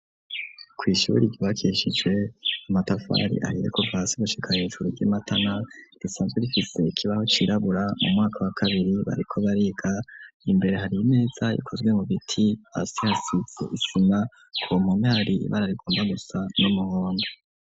Kw'ishure ryubakishijwe umatafari ahiye kuva hasi gushika hesuru ry'imatana risanzwe rifise ikibaho cirabura mu mwaka wa kabiri bariko bariga imbere hari ineza ikozwe mu biti asi hasi isina kumpumari ibara rigomba gusa n'umuhondo.